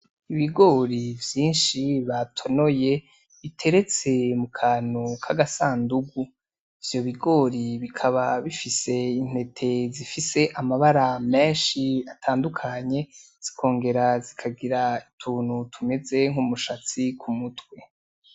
Ibigori vyinshi batonoye biteretse mukantu kagasandugu, ivyo bigori bikaba bifise intete zifise amabara menshi atandukanye, zikongera zikagira utuntu tumeze nk'umushatsi kumutwe.